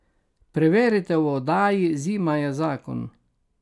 Preverite v oddaji Zima je zakon.